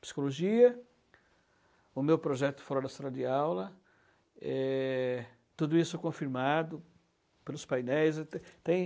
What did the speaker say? Psicologia, o meu projeto fora da sala de aula, eh, tudo isso confirmado pelos painéis. Tem